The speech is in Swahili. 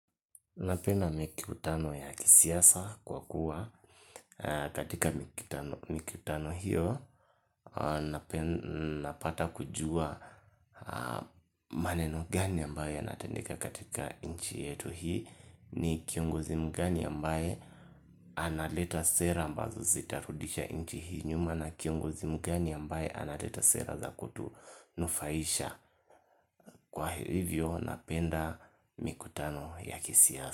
Napenda mikutano ya kisiasa kwa kuwa katika mikutano hiyo napata kujua maneno gani ambayo yanatendeka katika nchi yetu hii ni kiongozi mgani ambaye analeta sera ambazo zitarudisha nchi hii nyuma na kiongozi mgani ambaye analeta sera za kutunufaisha kwa hivyo napenda mikutano ya kisiasa.